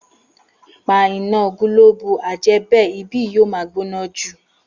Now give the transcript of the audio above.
Pa iná gílóòbù, àìjẹ́bè ibí yìí máa gbóná jù